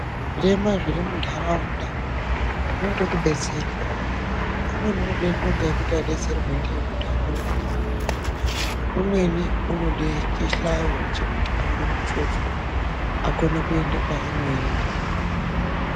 Zvirema zviri munharaunda zvinode kubetserwa. Umweni unode ndonga yekuti abetserwe ndiyo kuti akone kuhamba, umweni unode chihlayo chekuti akone kutshovhwa akone kuende kwaanoenda.